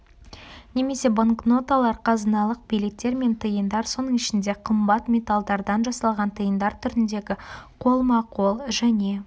немесе банкноталар қазыналық билеттер мен тиындар соның ішінде қымбат металдардан жасалған тиындар түріндегі қолма-қол және